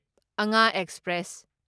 Anga express